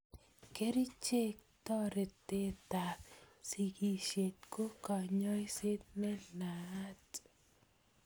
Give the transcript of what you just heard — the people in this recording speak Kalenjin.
Kerchek, toretetab siskisiet ko kanyoiset ne naat